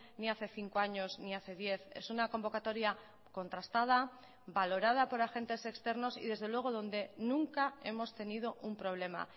ni hace cinco años ni hace diez es una convocatoria contrastada valorada por agentes externos y desde luego donde nunca hemos tenido un problema